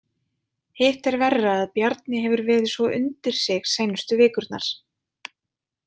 Hitt er verra að Bjarni hefur verið svo undir sig seinustu vikurnar.